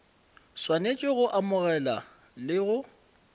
swanetše go amogela le go